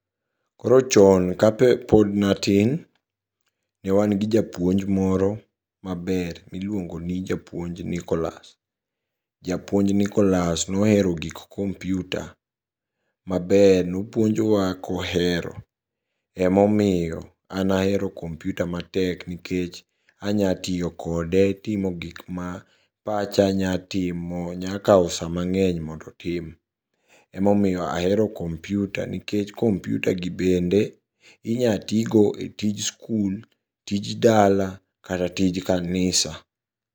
Koro chon kapod natin newagi japuonj maber miluogoni japuonj Nicholas. Japuonj Nicholas nohero gik kompyuta maber, nopuonjowa kohero emomiyo an ahero kompyuta matek nikech anyatiyo kode timo gikma pacha nyatimo nyakao saa mang'eny mondo tim, emomiyo ahero kompyuta nikech kompyutagi bende inyatigo e tij skul, tij dala kata tij kanisa.